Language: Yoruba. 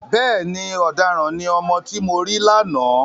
Bẹ́ẹ̀ni, ọ̀daràn ni ọmọ tí mo rí lánàá.